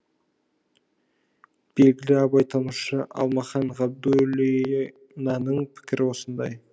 белгілі абайтанушы алмахан ғабдуллинаның пікірі осындай